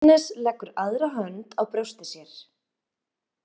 Agnes leggur aðra hönd á brjóst sér.